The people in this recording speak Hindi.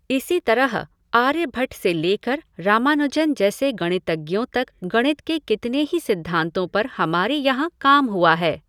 इसी तरह आर्यभट्ट से लेकर रामानुजन जैसे गणितज्ञों तक गणित के कितने ही सिद्धांतों पर हमारे यहाँ काम हुआ है।